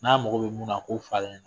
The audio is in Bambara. N'a mago bɛ mun na o k'o fɔ ale